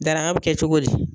Daraka bɛ kɛ cogo di?